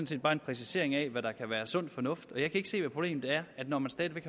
set bare en præcisering af hvad der kan være sund fornuft jeg kan ikke se hvad problemet er når man stadig væk